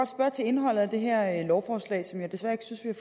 spørge til indholdet af det her lovforslag som jeg desværre ikke synes vi